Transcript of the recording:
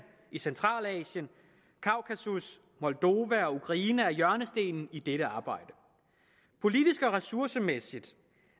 i centralasien kaukasus moldova og ukraine er hjørnestenen i dette arbejde politisk og ressourcemæssigt